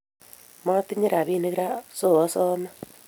Motinye rapinik raa so asame